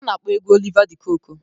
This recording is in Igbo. Ọ na-akpọ egwu Oliva De kokwe.